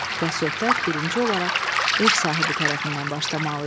Və söhbət birinci olaraq ev sahibi tərəfindən başlamalı idi.